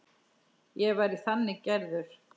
Ég væri þannig gerður.